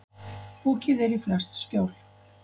Fokið er í flest skjól.